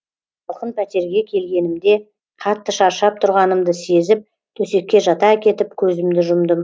салқын пәтерге келгенімде қатты шаршап тұрғанымды сезіп төсекке жата кетіп көзімді жұмдым